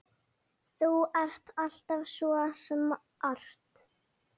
Þú ert alltaf svo smart.